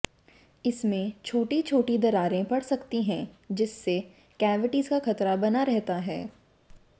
इसमें छोटी छोटी दरारें पड़ सकती हैं जिससे कैविटीज़ का खतरा बना रहता है